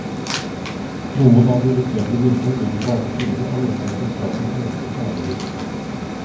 Noen av de litt eldre guttene ligger på alle fire og leter etter strandens minste sneglehus.